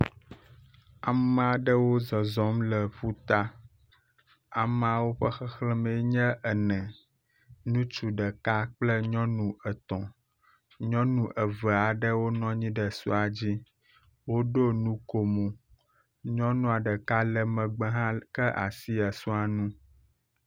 Ame aɖewo zɔzɔm le ƒuta, ameawo ƒe xexlẽmee nye ene, nutsu ɖeka kple nyɔnu etɔ̃. Nyɔnu eve aɖewo nɔ anyi ɖe esɔa dzi, woɖo nukomo. Nyɔnua ɖeka le megbe hã ka asi esɔ nu.